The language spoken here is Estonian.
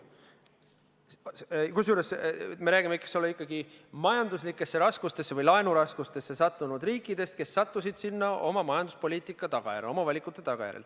Kusjuures me räägime ikkagi majanduslikesse raskustesse või laenuraskustesse sattunud riikidest, kes sattusid sinna oma majanduspoliitika tagajärjel, oma valikute tagajärjel.